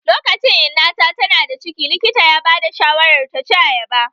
Lokacin inna ta tana da ciki likita ya ba da shawarar ta ci ayaba